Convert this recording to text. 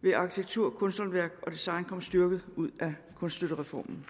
vil arkitektur kunsthåndværk og design komme styrket ud af kunststøttereformen